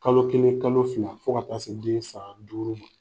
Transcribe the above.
Kalo kelen kalo fila fo ka taa se den san duuru ma.